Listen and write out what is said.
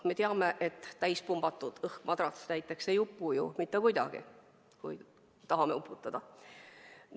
Me teame, et täis pumbatud õhkmadrats näiteks ei upu ju mitte kuidagi, kui tahame seda uputada.